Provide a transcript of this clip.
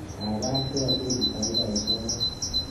Kaikai telel dakikaishek muut.